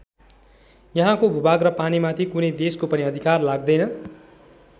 यहाँको भूभाग र पानीमाथि कुनै देशको पनि अधिकार लाग्दैन।